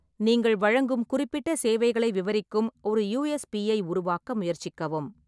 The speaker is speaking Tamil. நீங்கள் வழங்கும் குறிப்பிட்ட சேவைகளை விவரிக்கும் ஒரு யுஎஸ்பி ஐ உருவாக்க முயற்சிக்கவும்.